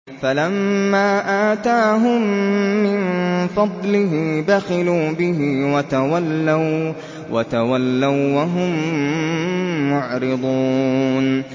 فَلَمَّا آتَاهُم مِّن فَضْلِهِ بَخِلُوا بِهِ وَتَوَلَّوا وَّهُم مُّعْرِضُونَ